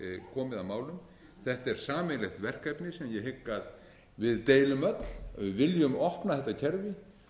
komið að málum þetta er sameiginlegt verkefni sem ég hygg að við deilum öll ef við viljum opna þetta kerfi